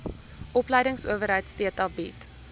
opleidingsowerheid theta bied